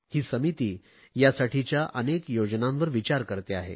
ही समिती यासाठीच्या अनेक योजनांवर विचार करते आहे